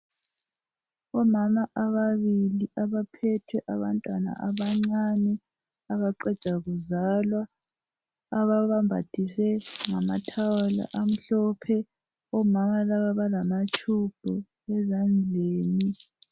Omama ababili abaphethe abantwana abancane abaqeda kuzalwa ababambathise ngamathawulo amhlophe omama laba balamatube ezandleni